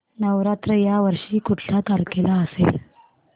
नवरात्र या वर्षी कुठल्या तारखेला असेल